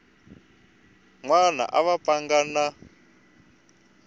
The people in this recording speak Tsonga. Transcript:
wana a va pfanga na